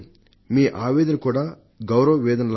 మీ ఆవేదన కూడా గౌరవ్ ఆవేదన లాగా